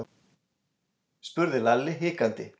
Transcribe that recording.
spurði Lalli hikandi.